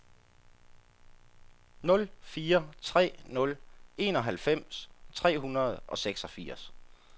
nul fire tre nul enoghalvfems tre hundrede og seksogfirs